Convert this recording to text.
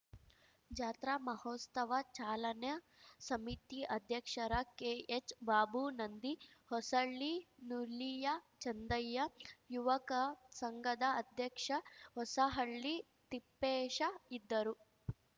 ಜಾತ್ರಾ ಮಹೋಸ್ತವ ಚಾಲನಾ ಸಮಿತಿ ಅಧ್ಯಕ್ಷರ ಕೆಎಚ್‌ಬಾಬು ನಂದಿಹೊಸಳ್ಳಿ ನುಲಿಯ ಚಂದಯ್ಯ ಯುವಕ ಸಂಘದ ಅಧ್ಯಕ್ಷ ಹೊಸಹಳ್ಳಿ ತಿಪ್ಪೇಶ ಇದ್ದರು